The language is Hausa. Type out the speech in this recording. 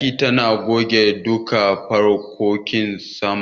Mai aikin zata goge duka fankokin saman.